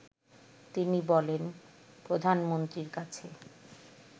তিনি বলেন প্রধানমন্ত্রীর কাছে